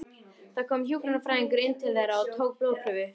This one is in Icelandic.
Það kom hjúkrunarfræðingur inn til þeirra og tók blóðprufur.